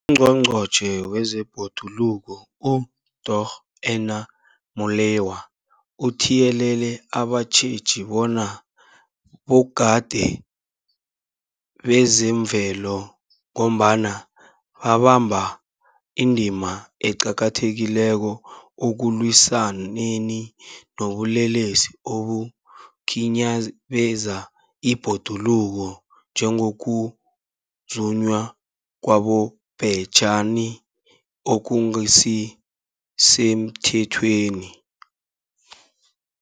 UNgqongqotjhe wezeBhoduluko uDorh Edna Molewa uthiyelele abatjheji bona bogadi bezemvelo, ngombana babamba indima eqakathekileko ekulwisaneni nobulelesi obukhinyabeza ibhoduluko, njengokuzunywa kwabobhejani okungasisemthethweni.